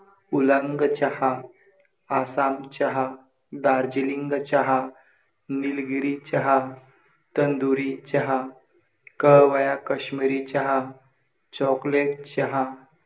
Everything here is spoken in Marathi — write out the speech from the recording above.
उलांग चहा, आसाम चहा, दार्जिलिंग चहा, निलगिरी चहा, तंदुरी चहा, कहवा काश्मिरी चहा, chocolate चहा.